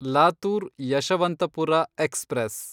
Latur Yeshwantpur express